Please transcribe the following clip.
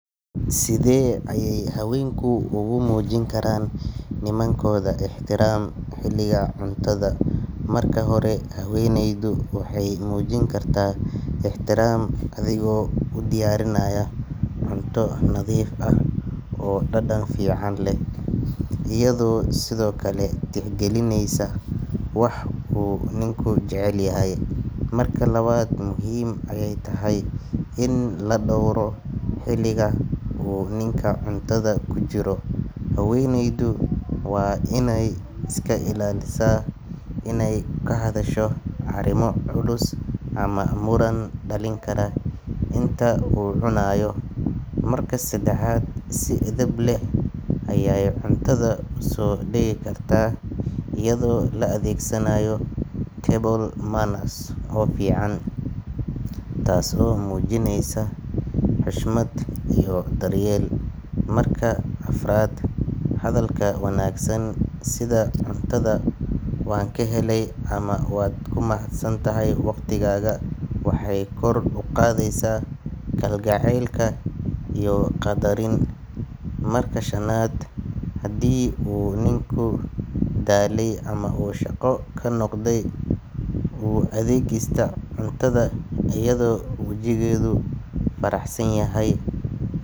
Sithe ay haweenki ugu mujini Karan nimankotha ixtiraam xelika cuntatha, marka hori haweneydo waxay mujini kartah ixtiraam adego u diyarineysoh cubto natheef aah oo dadan fican leeh, eyado sethokali dardarkalineysoh wax oo Ninka jaceelyahay marka lawat muhim ayatahay in la doowroh xelika Ninka cuntatha kujiroh, haweneydo way Ina iska ilalisah inay kahadashoh arima culus amah muran dalinkarah Ina oo cunayoh marka sadaxat si athebleh Aya cuntatha u so digikartah eyado la adegsanayoh tablemanner oo fican taaso mujineysah xushmat iyo daryeel marka afarat hadalka wanagsan sitha cuntatha wankahelay amah watkimahatsantahay waqdikaka waxay kor u qatheysah kaljaceelka iyo qadarin, marka shanat handi oo ninka dalay amah oo shaqo kanoqday athegesah cuntaha eyado wajiketho faraxsanyah.